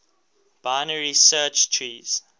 binary search trees